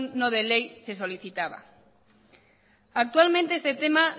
no de ley se solicitaba actualmente este tema